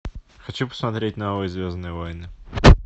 хочу посмотреть новые звездные войны